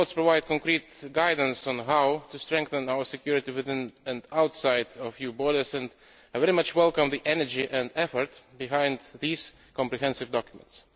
Both reports provide concrete guidance on how to strengthen our security within and outside the EU's borders, and I very much welcome the energy and effort behind these comprehensive documents.